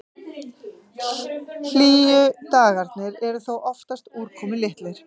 Hlýju dagarnir eru þó oftast úrkomulitlir.